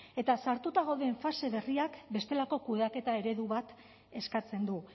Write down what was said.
eta sartuta gauden fase berriak bestelako kudeaketa eredu bat eskatzen du